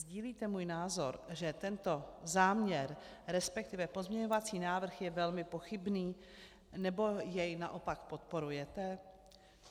Sdílíte můj názor, že tento záměr, respektive pozměňovací návrh, je velmi pochybný, nebo jej naopak podporujete?